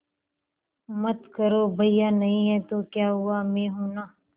मत करो भैया नहीं हैं तो क्या हुआ मैं हूं ना